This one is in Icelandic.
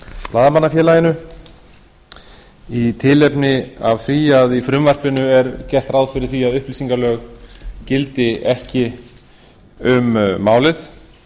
blaðamannafélaginu í tilefni af því að í frumvarpinu er gert ráð fyrir að upplýsingalög gildi ekki um málið